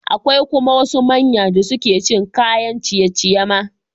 Akwai kuma wasu manya da suke cin kayan ciye-ciye ma.